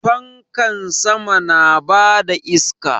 Fankan sama na bada iska